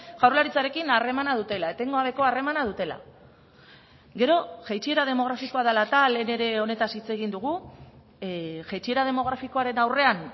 jaurlaritzarekin harremana dutela etengabeko harremana dutela gero jaitsiera demografikoa dela eta lehen ere honetaz hitz egin dugu jaitsiera demografikoaren aurrean